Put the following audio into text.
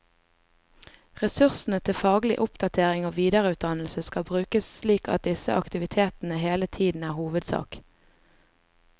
Ressursene til faglig oppdatering og videreutdannelse skal brukes slik at disse aktivitetene hele tiden er hovedsak.